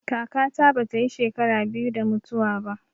Kaka ta bata yi shekara biyu da mutuwa ba